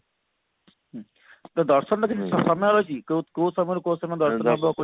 ଦର୍ଶନ ର କିଛି ସମୟ ରହିଛି କୋଉ କୋଉ ସମୟରୁ କୋଉ ସମୟ